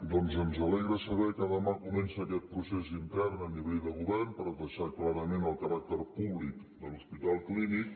doncs ens alegra saber que demà comença aquest procés intern a nivell de govern per deixar clar el caràcter públic de l’hospital clínic